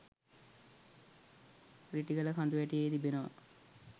රිටිගල කඳුවැටියේ තිබෙනවා